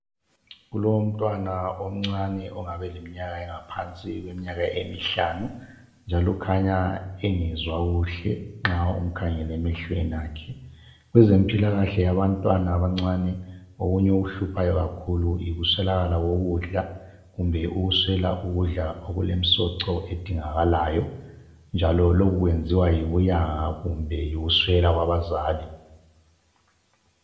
Kulomntwana omncane ongaba eleminyaka engaphansi kweminyaka emihlanu njalo ukhanya engezwa kuhle nxa umkhangele emehlweni akhe . Kwezempilakahle abantwana abancane okunye okuhluphayo kakhulu yikuswelakala kokudla kumbe ukudla okulemsoco edingakalayi njalo lokhu kwenziwa yibuyanga kumbe yikuswela kwabazali.